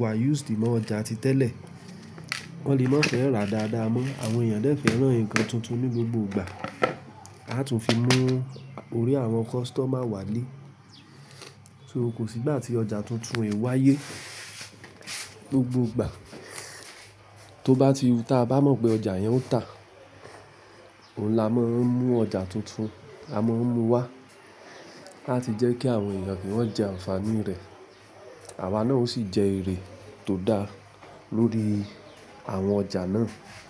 wa used mọ́ ọjà ti tẹ́lẹ̀, wọ́n lè má fẹ́ rà dáadáa mọ́. Àwọn èèyàn dẹ́ fẹ̀ràn ǹkan tuntun ní gbogbo ìgbà. A tún fi mú orí àwọn customer wálé. So kò sí ìgbà tí ọjà tuntun e wáyé gbogbo gbà. Tó bá ti hu tá a bá mọ̀ pé ọjà yẹn ó tà, òun la máa ń mú ọjà tuntun, a máa ń mú wá láti jẹ́ kí àwọn èèyàn kí wọ́n jẹ ànfààní rẹ̀. Àwa náà o sì jẹ èrè tó dá lórí àwọn ọjà náà.